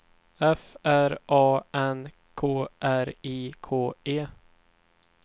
F R A N K R I K E